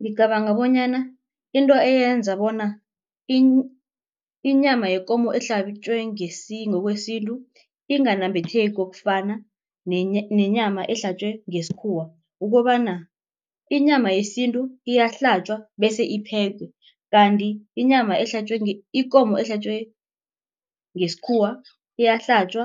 Ngicabanga bonyana into eyenza bona inyama yekomo ehlatjwe ngokwesintu inganambitheki kokufana nenyama ehlatjwe ngesikhuwa ukobana inyama yesintu iyahlatjwa bese iphekwe. Kanti inyama ehlatjwe ikomo ehlatjwe ngesikhuwa iyahlatjwa